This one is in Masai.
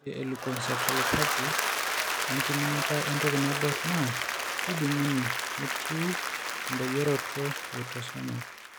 Ore eleukoencephalopathye oenkiminata entoki naibor naa kejung'uni tenetiu endoyioroto eautosomal.